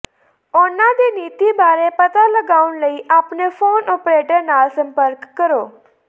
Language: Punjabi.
ਉਨ੍ਹਾਂ ਦੀ ਨੀਤੀ ਬਾਰੇ ਪਤਾ ਲਗਾਉਣ ਲਈ ਆਪਣੇ ਫੋਨ ਓਪਰੇਟਰ ਨਾਲ ਸੰਪਰਕ ਕਰੋ